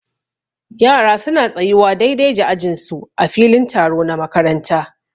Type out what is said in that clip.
Yara su na tsayuwa daidai da ajin su a filin taro na makaranta.